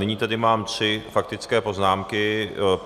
Nyní mám tedy tři faktické poznámky.